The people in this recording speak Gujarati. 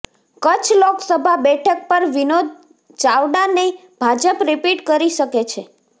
કચ્છ લોકસભા બેઠક પર વિનોદ ચાવડાને ભાજપ રિપીટ કરી શકે છે